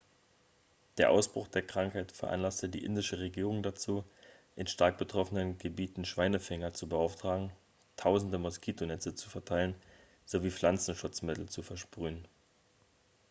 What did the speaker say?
der ausbruch der krankheit veranlasste die indische regierung dazu in stark betroffenen gebieten schweinefänger zu beauftragen tausende moskitonetze zu verteilen sowie pflanzenschutzmittel zu versprühen